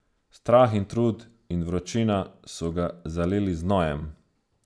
Strah in trud in vročina so ga zalili z znojem.